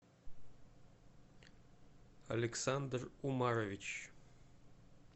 александр умарович